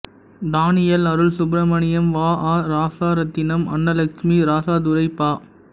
Daniel Arul Subramaniam வ அ இராசரத்தினம் அன்னலட்சுமி இராசதுரை பா